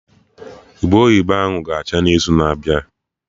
Ube oyibo ahụ ga acha n'izu na-abịa